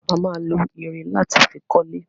A ma lo irin láti fi kọ́lé